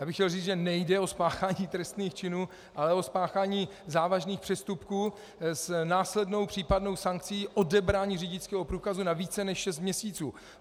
Já bych chtěl říct, že nejde o spáchání trestných činů, ale o spáchání závažných přestupků s následnou případnou sankcí odebrání řidičského průkazu na více než šest měsíců.